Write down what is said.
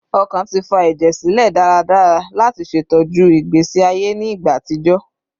Ọkàn ti fa ẹjẹ silẹ daradara lati ṣetọju igbesi aye ni igba atijọ